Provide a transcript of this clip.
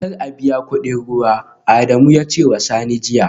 Kar a biya kudin ruwa, Adamu ya ce wa Sani jiya